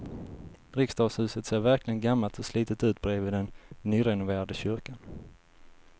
Riksdagshuset ser verkligen gammalt och slitet ut bredvid den nyrenoverade kyrkan.